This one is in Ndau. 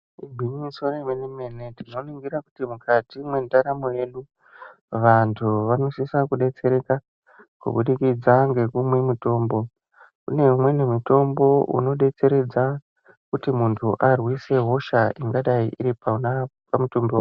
Igwinyiso remene mene tinoningira kuti mukati mwendaramo yedu vantu vanosise kudetsereka kubudikidza ngekumwa mitombo. Imweni mitombo inodetseredza kuti muntu arwise hosha ingadai iri pona pamitombo